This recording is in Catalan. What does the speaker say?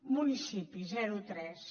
municipis zero tres